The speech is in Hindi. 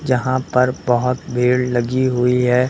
जहां पर बहोत भीड़ लगी हुई है।